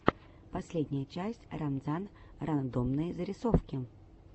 последняя часть ранзар рандомные зарисовки